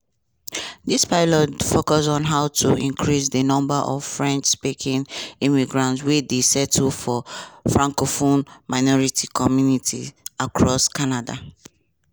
dis pilot focus on how to increase di number of french-speaking immigrants wey dey settle for francophone minority communities across canada.